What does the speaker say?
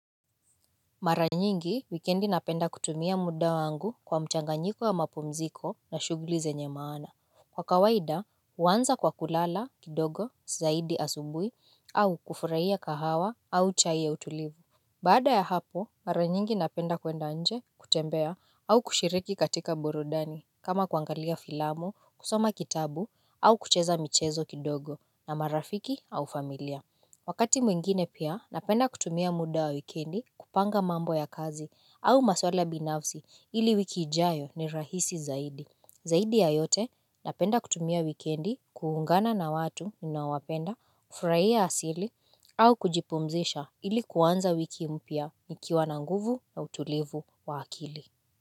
Maranyingi, wikendi napenda kutumia muda wangu kwa mchanganyiko wa mapumziko na shuguli zenye maana. Kwa kawaida, huwanza kwa kulala, kidogo, zaidi asubuhi, au kufurahia kahawa, au chai ya utulivu. Baada ya hapo, maranyingi napenda kwenda inje, kutembea, au kushiriki katika burudani, kama kuangalia filamo, kusoma kitabu, au kucheza michezo kidogo, na marafiki au familia. Wakati mwingine pia napenda kutumia muda wa wikendi kupanga mambo ya kazi au maswala binafsi ili wiki ijayo ni rahisi zaidi. Zaidi ya yote napenda kutumia wikendi kuungana na watu ninaowapenda ufuraia asili au kujipumzisha ili kuanza wiki mpya nikiwa na nguvu na utulivu wa akili.